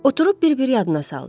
Oturub bir-bir yadına saldı.